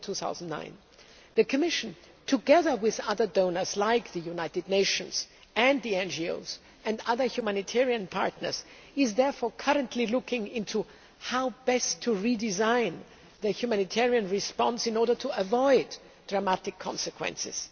2009. The Commission, together with other donors, like the United Nations and the NGOs and other humanitarian partners, is currently looking into how best to redesign the humanitarian response in order to avoid dramatic consequences.